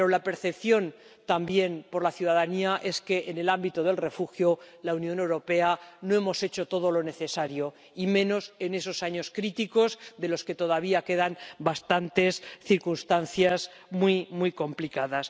Pero la percepción por la ciudadanía es que, en el ámbito del asilo, la Unión Europea no ha hecho todo lo necesario, y menos en esos años críticos de los que todavía quedan bastantes circunstancias muy, muy complicadas.